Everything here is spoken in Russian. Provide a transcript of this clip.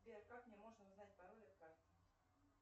сбер как мне можно узнать пароль от карты